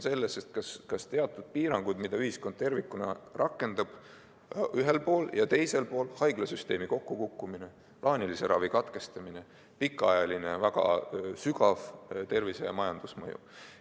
Küsimus on teatud piirangutes, mida ühiskond tervikuna rakendab ühel pool ja teisel pool, haiglasüsteemi kokkukukkumises, plaanilise ravi katkestamises, pikaajalises ja väga sügavas tervise- ja majandusmõjus.